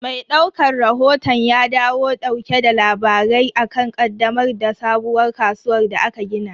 Mai daukan rahoton ya dawo dauke da labari akan ƙaddamar da sabuwar kasuwar da aka gini.